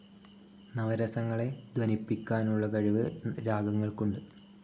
നവരസങ്ങളെ ധ്വനിപ്പിയ്ക്കാനുള്ള കഴിവ് രാഗങ്ങൾ‌ക്കുണ്ട്.